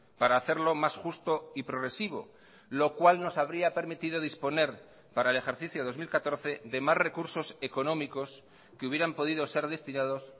para hacerlo más justo y progresivo lo cual nos habría permitido disponer para el ejercicio dos mil catorce de más recursos económicos que hubieran podido ser destinados